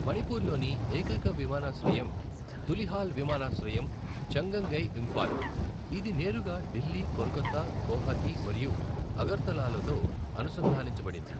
మణిపూర్లోని ఏకైక విమానాశ్రయం తులిహాల్ విమానాశ్రయం చంగంగై, ఇంఫాల్. ఇది నేరుగా ఢిల్లీ, కోల్కతా, గౌహతి మరియు అగర్తలాలతో అనుసంధానించబడింది.